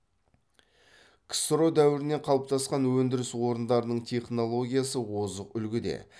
ксро дәуірінен қалыптасқан өндіріс орындарының технологиясы озық үлгіде